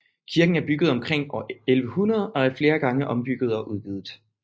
Kirken er bygget omkring år 1100 og er flere gange ombygget og udvidet